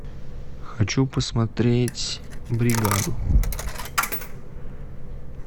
хочу посмотреть бригаду